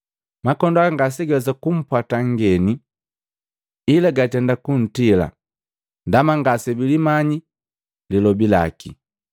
Makondoo haga ngase gawesa kumpwata nngeni, ila gatenda kuntila ndaba ngasebilimanya malobi gaki.”